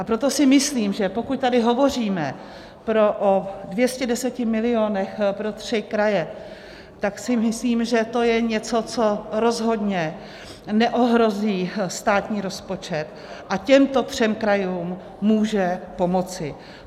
A proto si myslím, že pokud tady hovoříme o 210 milionech pro tři kraje, tak si myslím, že to je něco, co rozhodně neohrozí státní rozpočet, a těmto třem krajům může pomoci.